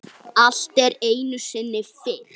Allt er einu sinni fyrst.